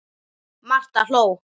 Marta hló.